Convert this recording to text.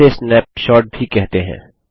इसे स्नैपशॉट भी कहते हैं